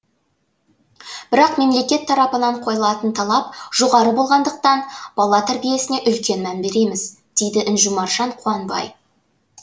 бірақ мемлекет тарапынан қойылатын талап жоғары болғандықтан бала тәрбиесіне үлкен мән береміз дейді інжу маржан қуанбай